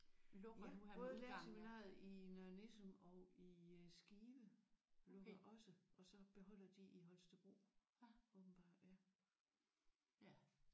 Ja både lærerseminariet i Nørre Nissum og i øh Skive lukker også og så beholder de i Holstebro åbenbart ja